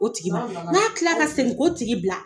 O tigi ma n k'a tilala ka segin k'o tigi bila